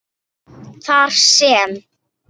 þar sem